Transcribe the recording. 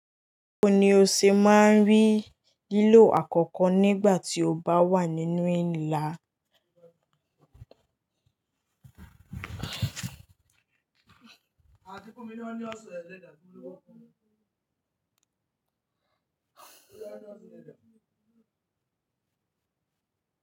Bawo ni oo se maa n ri lilo akoko nigba ti oo ba wa ninu ila. A ti kun mi ni oni oṣu eleeda, mo n bo fun.